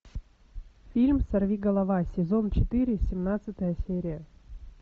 фильм сорвиголова сезон четыре семнадцатая серия